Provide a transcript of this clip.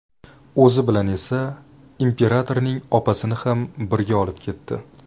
O‘zi bilan esa imperatorning opasini ham birga olib ketdi.